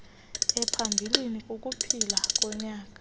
ephambilli kukuphila konyana